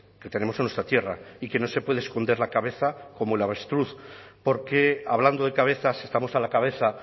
que tenemos en nuestra tierra y que no se puede esconder la cabeza como el avestruz porque hablando de cabezas estamos a la cabeza